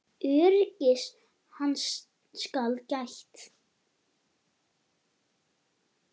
Öryggis hans skal gætt.